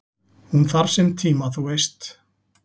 """Hún þarf sinn tíma, þú veist"""